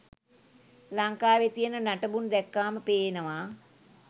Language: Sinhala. ලංකාවෙ තියෙන නටබුන් දැක්කාම පේනවා.